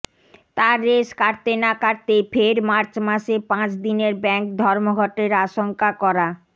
তার রেশ কাটতে না কাটতেই ফের মার্চ মাসে পাঁচ দিনের ব্যাঙ্ক ধর্মঘটের আশঙ্কা করা